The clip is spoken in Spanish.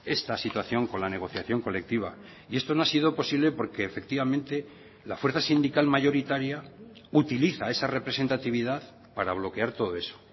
esta situación con la negociación colectiva y esto no ha sido posible porque efectivamente la fuerza sindical mayoritaria utiliza esa representatividad para bloquear todo eso